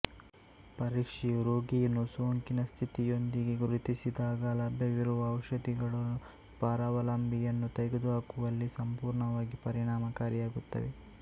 ಪರೀಕ್ಷೆಯು ರೋಗಿಯನ್ನು ಸೋಂಕಿನ ಸ್ಥಿತಿಯೊಂದಿಗೆ ಗುರುತಿಸಿದಾಗ ಲಭ್ಯವಿರುವ ಔಷಧಿಗಳು ಪರಾವಲಂಬಿಯನ್ನು ತೆಗೆದುಹಾಕುವಲ್ಲಿ ಸಂಪೂರ್ಣವಾಗಿ ಪರಿಣಾಮಕಾರಿಯಾಗಿರುತ್ತವೆ